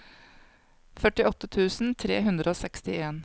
førtiåtte tusen tre hundre og sekstien